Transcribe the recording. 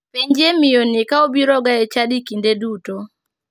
Penjie miyoni ka obiroga e chadi kinde duto.